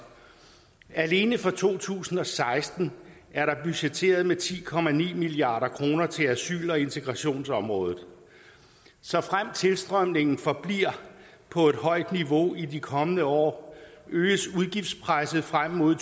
alene for to tusind og seksten er der budgetteret med ti milliard kroner til asyl og integrationsområdet såfremt tilstrømningen forbliver på et højt niveau i de kommende år øges udgiftspresset frem mod